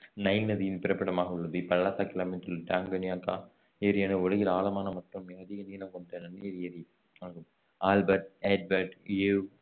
Nile நதியின் பிறப்பிடமாக உள்ளது இப்பள்ளத்தாக்கில் அமைந்துள்ள டான்கான்யிகா ஏரியானது உலகின் ஆழமான மற்றும் மிக அதிக நீளம் கொண்ட நன்னீர் ஏரி ஆகும் ஆல்பர்ட் எட்வர்ட் கிவ்